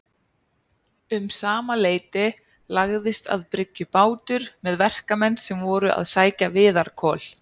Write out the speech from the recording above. Um sama leyti lagðist að bryggju bátur með verkamenn sem voru að sækja viðarkol.